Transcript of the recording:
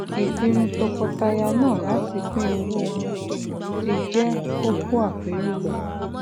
ìpinnu tọkọtàyà náà láti pín owó wọn ti jẹ kókó àpero